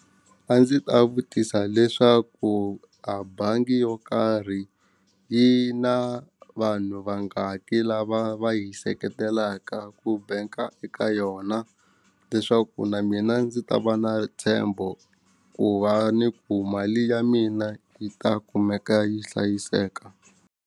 A ndzi ta vutisa leswaku a bangi yo karhi yi na vanhu vangaki lava va yi seketelaka ku bank-a eka yona leswaku na mina ndzi ta va na ntshembo ku va ni ku mali ya mina yi ta kumeka yi hlayiseka.